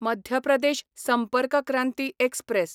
Madhya Pradesh Sampark Kranti express